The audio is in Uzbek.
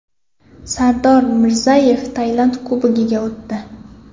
Sardor Mirzayev Tailand klubiga o‘tdi.